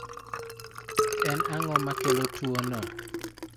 En ang'o makelo tuwono?